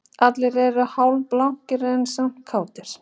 Allir eru hálfblankir en samt kátir